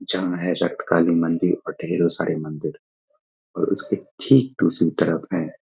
जहां है ऐसा काली मंदिर और ढेरों सारे मंदिर और उसकी ठीक दूसरी तरफ हैं।